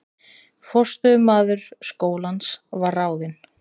Forstöðumaður skólans var ráðinn